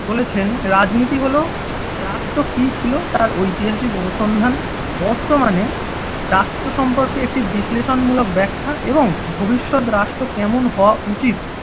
বলেছেন রাজনীতি হলো রাষ্ট্র কি ছিল তাঁর ঐতিহাসিক অনুসন্ধান বর্তমানে রাষ্ট্র সম্পর্কে একটি বিশ্লেষণমূলক ব্যাখ্যা এবং ভবিষ্যৎ রাষ্ট্র কেমন হওয়া উচিত